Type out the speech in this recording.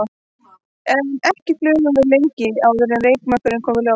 En ekki flugum við lengi áður en reykjarmökkurinn kom í ljós.